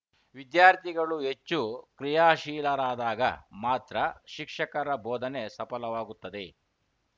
ವಿದ್ಯಾರ್ಥಿಗಳು ಹೆಚ್ಚು ಕ್ರಿಯಾಶೀಲರಾದಾಗ ಮಾತ್ರ ಶಿಕ್ಷಕರ ಬೋಧನೆ ಸಫಲವಾಗುತ್ತದೆ